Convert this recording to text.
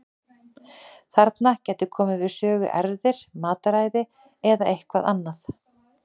Þarna gætu komið við sögu erfðir, mataræði eða eitthvað annað.